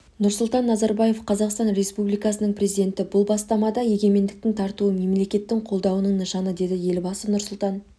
нұрсұлтан назарбаев қазақстан республикасының президенті бұл бастама да егемендіктің тартуы мемлекеттік қолдаудың нышаны деді елбасы нұрсұлтан